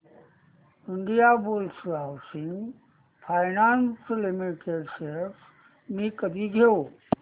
Indiabulls housing finance limited shares मी कधी घेऊ